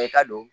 Bɛɛ ka don